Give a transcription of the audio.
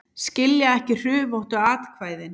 Skilja ekki hrufóttu atkvæðin